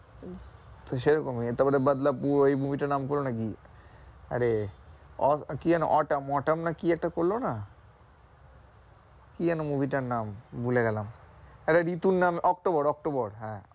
তো সে রকমই তারপরে বাদলাপুর ওই movie টার নাম করো না কি? আরে আহ কি যেন অটাম, অটাম না কি একটা করলো না? কি যেন? movie টার নাম ভুলে গেলাম আরে ঋতুর নাম এ অক্টোবর, অক্টোবর হ্যাঁ